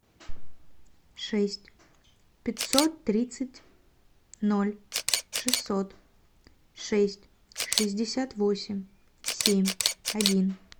шесть пятьсот тридцать ноль шестьсот шесть шестьдесят восемь семь один